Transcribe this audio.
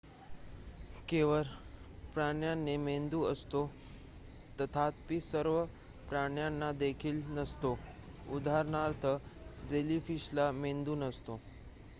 केवळ प्राण्यांना मेंदू असतो तथापि सर्व प्राण्यांना देखील नसतो; उदाहरणार्थ जेलीफिशला मेंदू नसतो